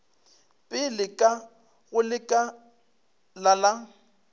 pele ka go lekala la